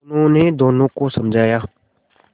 उन्होंने दोनों को समझाया